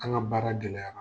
An ga baara gɛlɛyara.